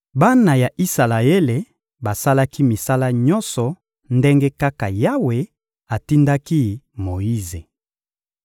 Bana ya Isalaele basalaki misala nyonso ndenge kaka Yawe atindaki Moyize.